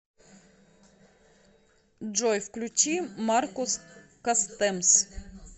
джой включи маркус кастэмс